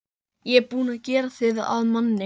Ég er búinn að gera þig að manni.